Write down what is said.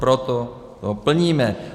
Proto ho plníme.